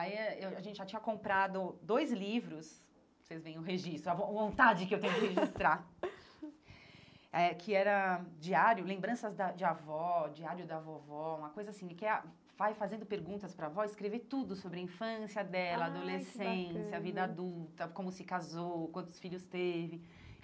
Eh Aí eu a gente já tinha comprado dois livros, vocês veem o registro, a von vontade que eu tenho de registrar, eh que era diário, lembranças da de avó, diário da vovó, uma coisa assim, que é ah, vai fazendo perguntas para a avó, escrever tudo sobre a infância dela, ai que bacana a adolescência, a vida adulta, como se casou, quantos filhos teve.